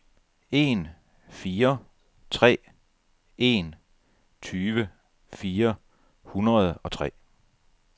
en fire tre en tyve fire hundrede og tre